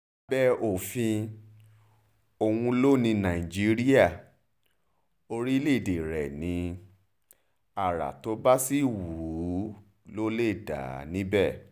lábẹ́ òfin òun ló ní nàìjíríà orílẹ̀-èdè rẹ̀ ní ara tó bá sì wù ú ló lè dá níbẹ̀